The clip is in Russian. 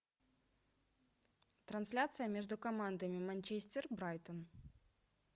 трансляция между командами манчестер брайтон